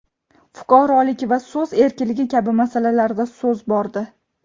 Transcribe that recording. fuqarolik va so‘z erkinligi kabi masalalarda so‘z bordi.